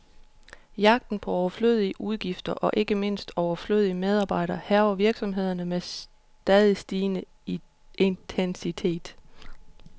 Jagten på overflødige udgifter, og ikke mindst overflødige medarbejdere, hærger virksomhederne med stadig stigende intensitet.